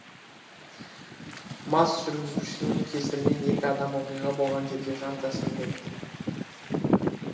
мас жүргізушінің кесірінен екі адам оқиға болған жерде жан тәсілім етті